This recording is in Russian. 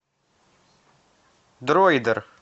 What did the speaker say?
дроидер